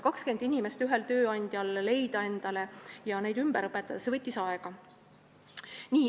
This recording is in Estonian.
See, et üks tööandja leiaks 20 inimest ja nad ümber õpetaks, võtab aega.